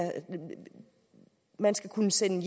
man skal kunne sende